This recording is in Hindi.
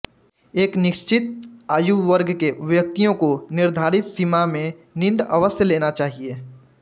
एक निश्चित आयुवर्ग के व्यक्तियों को निर्धारित सीमा में नींद अवश्य लेना चाहिए